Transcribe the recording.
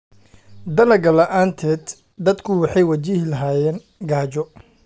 Dalagga la'aanteed, dadku waxay wajihi lahaayeen gaajo.